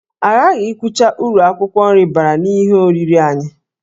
Aghaghị ikwucha uru akwụkwọ nri bara n'ihe oriri anyị